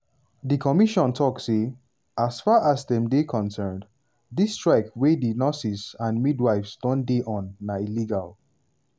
di commission tok say as far as dem dey concerned dis strike wey di nurses and midwives don dey on na illegal.